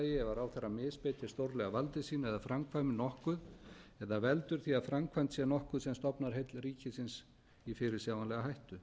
þriðja misbeitir stórlega valdi sínu eða framkvæmir nokkuð eða veldur því að framkvæmt sé nokkuð sem stofnar heill ríkisins í fyrirsjáanlega hættu